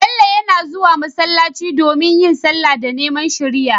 Bello yana zuwa masallaci don yin sallah da neman shiriya